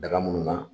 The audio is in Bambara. Daga minnu na